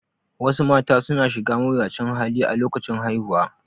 Wasu mata suna shiga mawuyacin hali a lokacin haihuwa